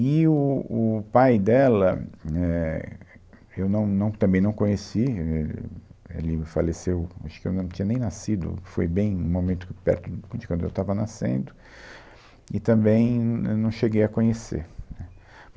E o o pai dela, éh, eu não não também não conheci, éh, ele faleceu, acho que eu não tinha nem nascido, foi bem um momento perto de quando eu estava nascendo, e também na não cheguei a conhecer, né